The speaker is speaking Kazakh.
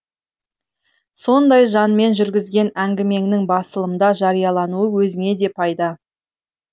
сондай жанмен жүргізген әңгімеңнің басылымда жариялануы өзіңе де пайда